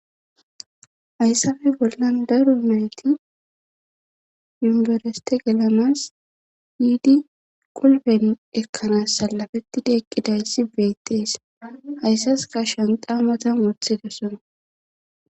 hayssafe bollan daro mayti yumbereste gelanas yiidi qulben ekkanas salafettidi eqqidayssi beettees hayssas ka shanqaa matan wothidesona